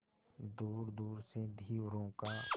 दूरदूर से धीवरों का